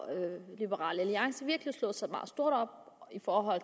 liberal alliance virkelig slået sig meget stort op i forhold